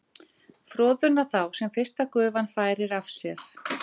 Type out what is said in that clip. Froðuna þá sem fyrsta gufan færir af sér